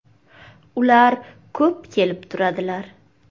- Ular ko‘p kelib turadilar.